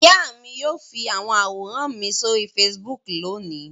Ìyá mi yóò fi àwọn àwòrán mi sí orí Facebook lónìí.